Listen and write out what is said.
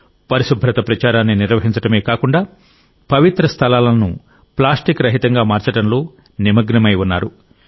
పరిశుభ్రత ప్రచారాన్ని నిర్వహించడమే కాకుండా పవిత్ర స్థలాలను ప్లాస్టిక్ రహితంగా మార్చడంలో నిమగ్నమై ఉన్నారు